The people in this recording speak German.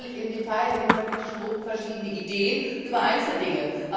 Wir haben natürlich im Detail in den Fraktionen verschiedene Ideen über Einzeldinge.